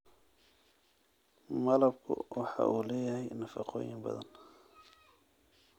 Malabku waxa uu leeyahay nafaqooyin badan.